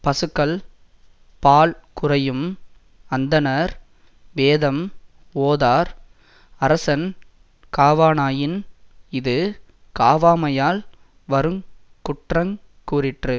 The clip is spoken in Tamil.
பசுக்கள் பால் குறையும் அந்தணர் வேதம் ஓதார் அரசன் காவானாயின் இது காவாமையால் வரு குற்றங் கூறிற்று